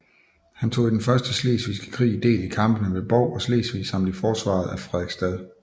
Han tog i den første slesvigske krig del i kampene ved Bov og Slesvig samt i forsvaret af Frederiksstad